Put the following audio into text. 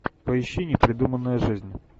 поищи непридуманная жизнь